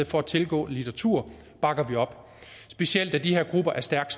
for at tilgå litteratur bakker vi op specielt da de her grupper er stærkt